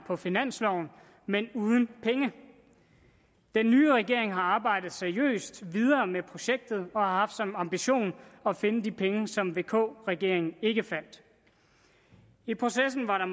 på finansloven men uden penge den nye regering har arbejdet seriøst videre med projektet og har haft som ambition at finde de penge som vk regeringen ikke fandt i processen har der